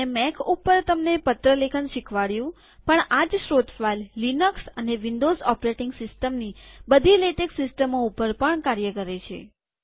મેં મેક ઉપર તમને પત્ર લેખન શીખવાડ્યુંપણ આ જ સ્ત્રોત ફાઈલ લિનક્સ અને વિન્ડોઝ ઓપરેટીંગ સિસ્ટમની બધી લેટેક સિસ્ટમો ઉપર પણ કાર્ય કરે છે